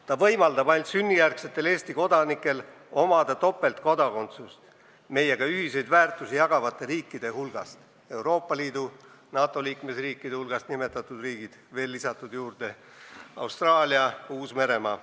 See võimaldab ainult sünnijärgsetele Eesti kodanikele topeltkodakondsust meiega ühiseid väärtusi jagavate riikidega, Euroopa Liidu ja NATO liikmesriikide hulgast nimetatud riikidega, mille juurde on veel lisatud Austraalia ja Uus-Meremaa.